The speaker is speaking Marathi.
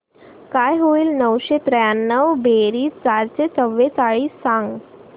काय होईल नऊशे त्र्याण्णव बेरीज चारशे चव्वेचाळीस सांग